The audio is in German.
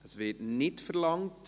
Das Wort wird nicht verlangt.